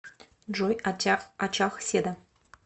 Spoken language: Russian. джой очаг седа